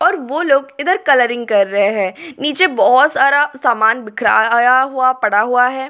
और वो लोग इधर कलरिंग कर रहे हैं नीचे बहुत सारा सामान बिखराया हुआ पड़ा हुआ है।